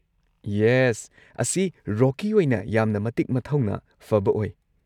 Yes ꯑꯁꯤ ꯔꯣꯀꯤ ꯑꯣꯏꯅ ꯌꯥꯝꯅ ꯃꯇꯤꯛ-ꯃꯊꯧꯅꯥ ꯐꯕ ꯑꯣꯏ꯫